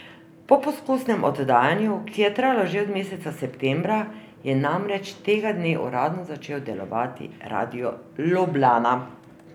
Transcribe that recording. Po poskusnem oddajanju, ki je trajalo že od meseca septembra, je namreč tega dne uradno začel delovati Radio Ljubljana.